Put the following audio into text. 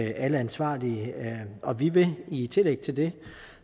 alle ansvarlige og vi vil i tillæg til det